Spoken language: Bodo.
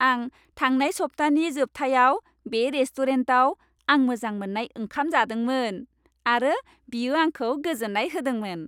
आं थांनाय सप्तानि जोबथायाव बे रेस्टुरेन्टाव आं मोजां मोननाय ओंखाम जादोंमोन, आरो बियो आंखौ गोजोन्नाय होदोंमोन।